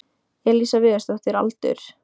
Elísa Viðarsdóttir Aldur?